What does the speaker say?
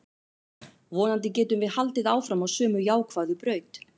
Vonandi getum við haldið áfram á sömu jákvæðu braut.